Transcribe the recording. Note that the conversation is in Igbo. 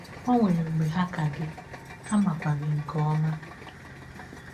Ọ nwere mgbe ha hà ka gị, ha makwa gị ha makwa gị nke ọma.